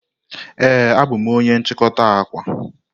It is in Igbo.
Ee, abụ m onye nchikota akwa.